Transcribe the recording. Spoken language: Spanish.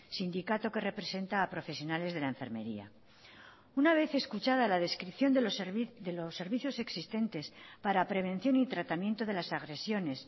sindicato que representa a profesionales de la enfermería una vez escuchada la descripción de los servicios existentes para prevención y tratamiento de las agresiones